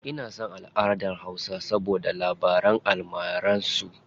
Ina son alʼadar hausa saboda labaran almarar su.